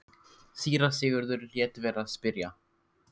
Síra Sigurður lét vera að spyrja.